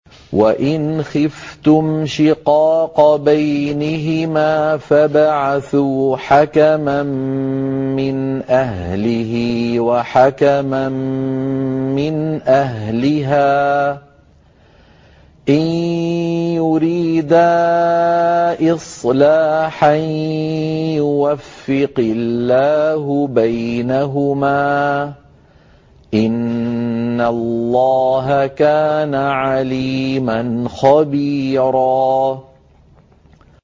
وَإِنْ خِفْتُمْ شِقَاقَ بَيْنِهِمَا فَابْعَثُوا حَكَمًا مِّنْ أَهْلِهِ وَحَكَمًا مِّنْ أَهْلِهَا إِن يُرِيدَا إِصْلَاحًا يُوَفِّقِ اللَّهُ بَيْنَهُمَا ۗ إِنَّ اللَّهَ كَانَ عَلِيمًا خَبِيرًا